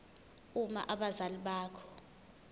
uma abazali bakho